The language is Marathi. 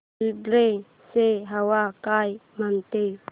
फुलंब्री ची हवा काय म्हणते